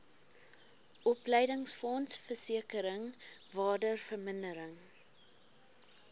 opleidingsfonds versekering waardevermindering